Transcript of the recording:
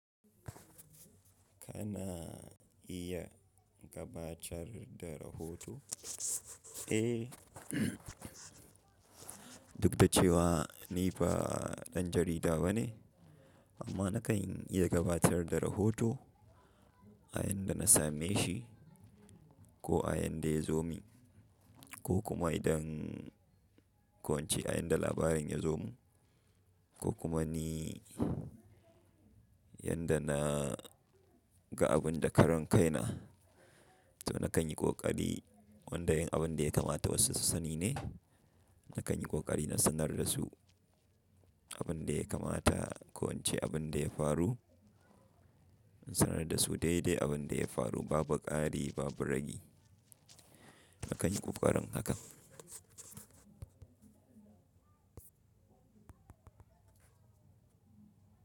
Kana iya gabatar da rahoto? Eh, duk da cewa ni ba ɗan jarida ba ne, amma na kan iya gabatar da rahoto a yanda na same shi ko a yanda ya zo mini ko kuma idan ko ince a yanda labarin ya zo mu ko kuma ni yanda na ga abun da karan kai na. To na kan yi kokari wanda yin abin da ya kamata wasu su sani ne. Na kan yi kokari na sanar da su abin da ya kamata ko ince abin da ya faru. Na sanar da su daidai abin da ya faru ba buƙari ba buragi. Na kan yi ƙoƙarin hakan.